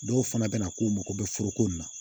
Dɔw fana bɛ na k'u mago bɛ foroko nin na